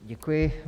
Děkuji.